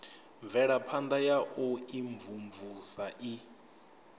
mvelaphana ya u imvumvusa i